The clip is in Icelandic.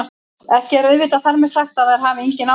Ekki er auðvitað þar með sagt að þær hafi engin áhrif!